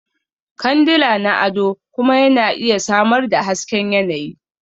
Kandila na ado kuma yana iya samar da hasken yanayi.